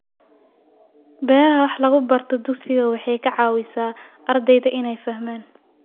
Beeraha wax lagu barto dugsiga waxay ka caawisaa ardayda inay fahmaan.